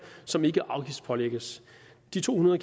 som ikke afgiftspålægges de to hundrede